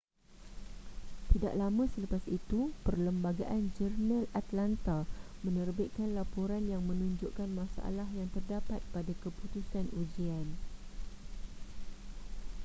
tidak lama selepas itu perlembagaan-jurnal atlanta menerbitkan laporan yang menunjukkan masalah yang terdapat pada keputusan ujian